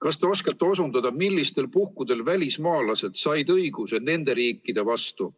Kas te oskate osundada, millistel puhkudel välismaalased said õiguse nende riikide vastu